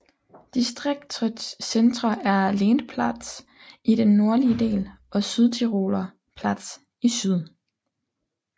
Distriktets centre er Lendplatz i den nordlige del og Südtiroler Platz i syd